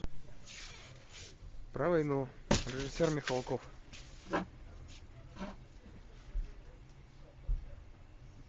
про войну режиссер михалков